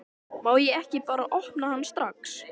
Má ég ekki bara opna hann strax?